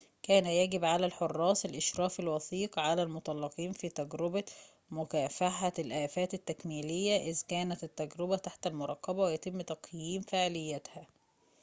كان يجب على الحراس الإشراف الوثيق على المطلقين في تجربة مكافحة الآفات التكميلية إذ كانت التجربة تحت المراقبة ويتم تقييم فاعليتها